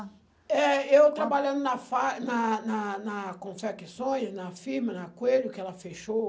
É, eu trabalhando na fa na na na Confecções, na firma, na Coelho, que ela fechou,